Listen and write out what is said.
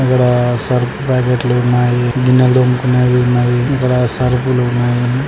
ఇక్కడా సర్ఫ్ ప్యాకెట్లు ఉన్నాయి. గిన్నెలు తోముకునేవి ఉన్నాయి. ఇక్కడ సర్ఫ్ లు ఉన్నాయి.